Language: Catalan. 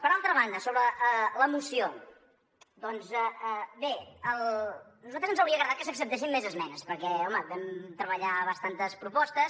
per altra banda sobre la moció bé a nosaltres ens hauria agradat que s’acceptessin més esmenes perquè home vam treballar bastantes propostes